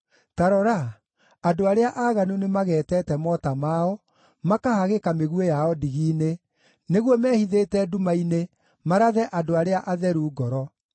Ta rora, andũ arĩa aaganu nĩmageetete mota mao, makahagĩka mĩguĩ yao ndigi-inĩ nĩguo mehithĩte nduma-inĩ marathe andũ arĩa atheru ngoro.